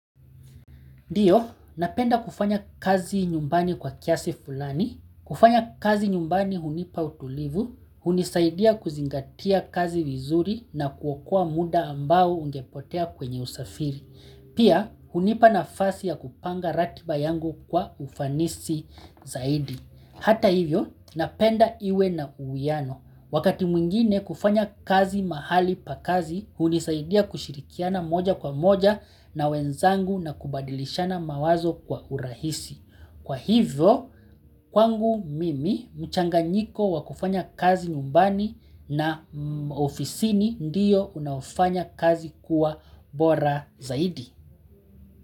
Ndiyo, napenda kufanya kazi nyumbani kwa kiasi fulani, kufanya kazi nyumbani hunipa utulivu, hunisaidia kuzingatia kazi vizuri na kuokoa muda ambao ungepotea kwenye usafiri, Pia, hunipa nafasi ya kupanga ratiba yangu kwa ufanisi zaidi. Hata hivyo, napenda iwe na uwiano. Wakati mwingine kufanya kazi mahali pa kazi, hunisaidia kushirikiana moja kwa moja na wenzangu na kubadilishana mawazo kwa urahisi. Kwa hivyo, kwangu mimi, mchanganyiko wakufanya kazi nyumbani na ofisini ndiyo unaofanya kazi kuwa bora zaidi.